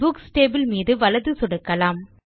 books table மீது வலது சொடுக்கலாம்